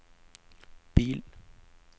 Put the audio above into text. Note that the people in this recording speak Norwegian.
bil